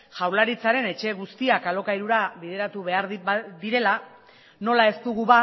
jaurlaritzaren etxe guztiak alokairura bideratu behar direla nola ez dugu